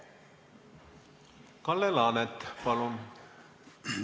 Kalle Laanet, palun!